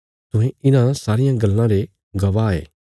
तुहें इन्हां सारियां गल्लां रे गवाह ये